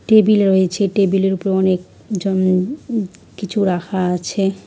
Table রয়েছে table -এর উপর অনেক জন উ কিছু রাখা আছে।